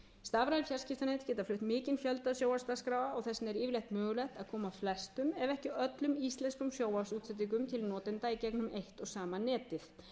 fjarskiptanet geta flutt mikinn fjölda sjónvarpsdagskráa og þess vegna er yfirleitt mögulegt að koma flestum ef ekki öllum íslenskum sjónvarpsútsendingum til notenda í gegnum eitt og sama netið